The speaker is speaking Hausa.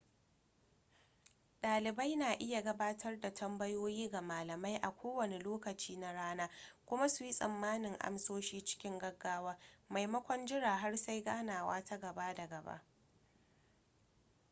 dalibai na iya gabatar da tambayoyi ga malamai a kowane lokaci na rana kuma suyi tsammanin amsoshi cikin gaggawa maimakon jiran har sai ganawa ta gaba da gaba